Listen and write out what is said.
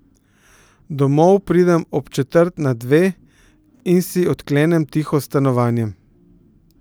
Domov pridem ob četrt na dve in si odklenem tiho stanovanje.